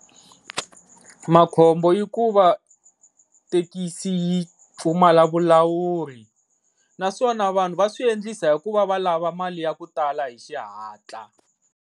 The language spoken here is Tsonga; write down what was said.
Makhombo i ku va thekisi yi pfumala vulawuri naswona vanhu va swi endlisa hikuva va lava mali ya ku tala hi xihatla.